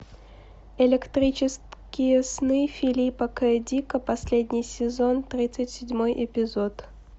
электрические сны филипа к дика последний сезон тридцать седьмой эпизод